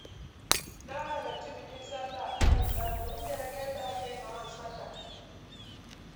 Na halarci bikin sallah a Kanon Dabo, inda na ga yadda ake yin hawan sallah.